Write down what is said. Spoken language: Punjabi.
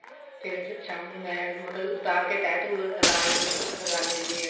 ਫੇਰ ਸ਼ਾਮ ਨੂੰ ਮੈਂ ਮਤਲਬ ਉਤਾਰ ਕੇ ਤੈਹ ਤੂਹ ਲਾ ਲਗਾ ਲਈਦੀ ਏ